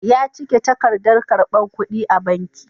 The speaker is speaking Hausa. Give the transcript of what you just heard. Ya cike takardar karbar kudi a banki.